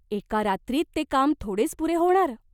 एका रात्रीत ते काम थोडेच पुरे होणार !